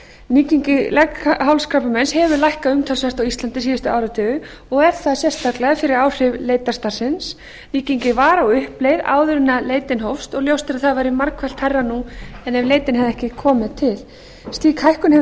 nýgengi leghálskrabbameins hefur lækkað umtalsvert á íslandi síðustu áratugi og er það sérstaklega fyrir áhrif leitarstarfsins nýgengi var á uppleið áður en leitin hófst og ljóst er að það væri margfalt hærra nú ef leitin hefði ekki komið til slík hækkun hefur